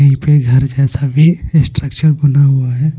कहीं पे घर जैसा भी स्ट्रक्चर बना हुआ है.